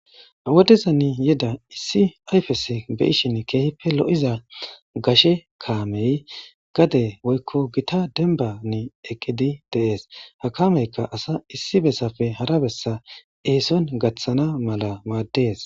Ha wodeza ni yeda issi ayfes beyishin keehippe lo'iza gashe kaamey gade woykko gita denbani eqqidi deees ha kameykka asa issi bessafe hara bessa eeson gaththana mala maaddes.